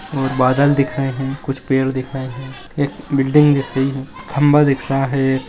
और बादल दिख रहे हैं कुछ पेड़ दिख रहे हैं एक बिल्डिंग दिख रही है खंबा दिख रहा है।